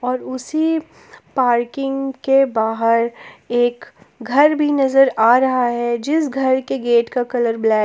और उसी पार्किंग के बाहर एक घर भी नजर आ रहा है जिस घर के गेट का कलर ब्लैक --